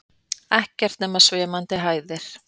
Ekkert nema svimandi hæðir.